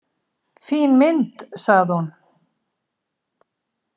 Fín mynd, sagði hún.